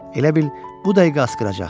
Elə bil bu dəqiqə asqıracaq.